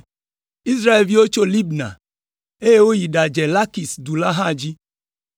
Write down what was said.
Israelviwo tso Libna, eye woyi ɖadze Lakis du la hã dzi.